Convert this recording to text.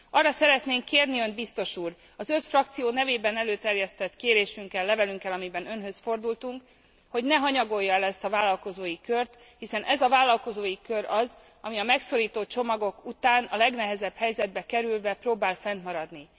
Arra szeretnénk kérni Önt, biztos úr, az öt frakció nevében előterjesztett kérésünkkel, levelünkkel, amiben Önhöz fordultunk, hogy ne hanyagolja el ezt a vállalkozói kört, hiszen ez a vállalkozói kör az, ami a megszorító csomagok után a legnehezebb helyzetbe kerülve próbál fennmaradni.